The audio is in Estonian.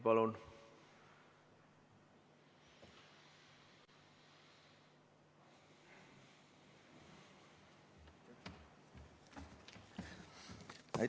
Palun!